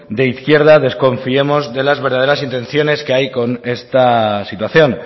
de izquierda desconfiemos de las verdaderas intenciones que hay con esta situación